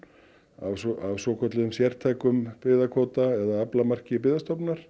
af svokölluðum sértækum byggðakvóta eða aflamarki